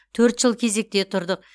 төрт жыл кезекте тұрдық